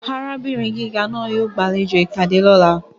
Arabinrin giga naa yoo gbalejo ipade lọla.